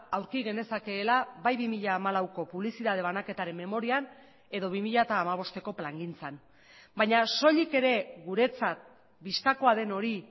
aurki genezakeela bai bi mila hamalauko publizitate banaketaren memorian edo bi mila hamabosteko plangintzan baina soilik ere guretzat bistakoa den hori